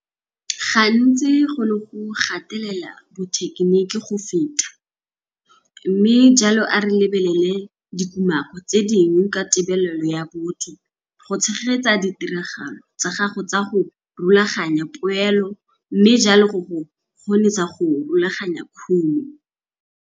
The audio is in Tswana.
Gantsi go ne go gatelela bothekeniki go feta, mme jalo a re lebelele dikumako tse dingwe ka tebelelo ya botho go tshegetsa ditiragalo tsa gago tsa go rulaganya poelo mme jalo go go kgonisa go rulaganya khumo.